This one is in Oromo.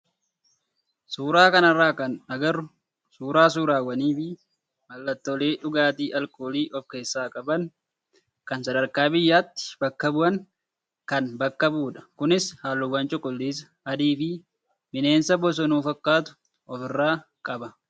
Suuraa kanarraa kan agarru suuraa suuraawwanii fi mallattoolee dhugaatii alkoolii of keessaa qaban kan sadarkaa biyyaatti bakka bu'an kan bakka bu'udha. Kunis halluuwwan cuquliisa, adii fi bineensa bosonuu fakkaatu ofirraa qaba.